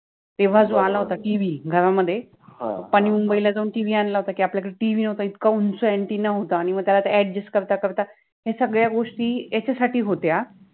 तेव्हा जो आला होता टि. वि. {T. V. } गावामधे ह ह आणि मुम्बइ ला जाउन टि. वि. {T. V. } आणला होता कि आपल्याकडे टि. वि. {T. V. } नवता इतका उंच अ‍ॅन्टीना {anteena} होताआणि मग त्याला अ‍ॅड्जस्ट {adjust} करता करता, या सगळ्या गोष्टि याच्यासाठि होत्या